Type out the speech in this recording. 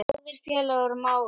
Góðir félagar og mágar.